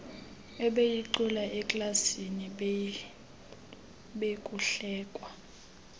ebeyicula eklasini bekuhlekwa